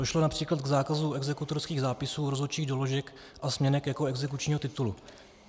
Došlo například k zákazu exekutorských zápisů, rozhodčích doložek a směnek jako exekučního titulu.